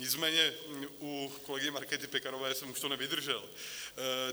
Nicméně u kolegyně Markéty Pekarové jsem už to nevydržel.